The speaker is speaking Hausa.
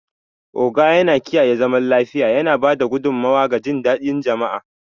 Ogo yana kiyaye zaman lafiya, yana ba da gudummawa ga jin daɗin jama'a.